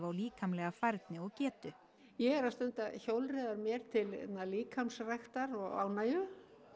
líkamlega færni og getu ég er að stunda hjólreiðar mér til líkamsræktar og ánægju